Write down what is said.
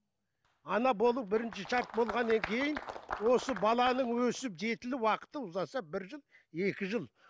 ана болу бірінші шарт болғаннан кейін осы баланың өсіп жетілу уақыты ұзаса бір жыл екі жыл